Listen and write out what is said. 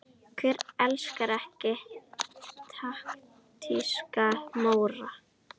Hver elskar ekki taktíska Móra?